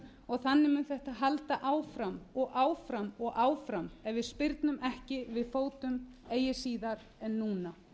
og þannig mun þetta halda áfram og áfram og áfram ef við spyrnum ekki við fótum eigi síðar en núna